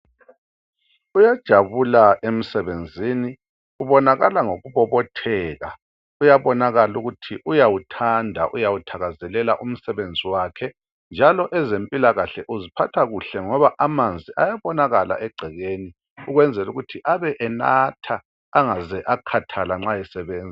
Uyajabula emsebenzini ubonakala ngokubobotheka. Kuyabonakala ukuthi uyawuthanda uyawuthakazelela umsebenzi wakhe, njalo ezempilakahle uziphatha kuhle ngoba amanzi ayabonakala egcekeni ukwenzela ukuthi abe enatha engaze akhathala nxa esebenza.